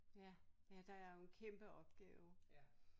Ja ja der er jo en kæmpe opgave